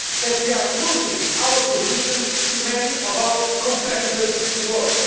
We are losing our position to many of our competitors in the world.